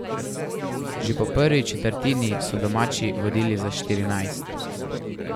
Že po prvi četrtini so domači vodili za štirinajst.